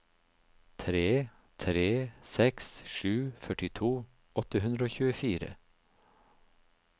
tre tre seks sju førtito åtte hundre og tjuefire